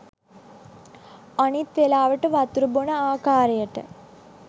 අනිත් වෙලාවට වතුර බොන ආකාරයට